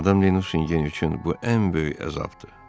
Madam de Nusingen üçün bu ən böyük əzabdır.